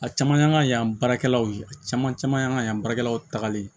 A caman y'an ka yan baarakɛlaw ye a caman caman y'an ka yan baarakɛlaw tagalen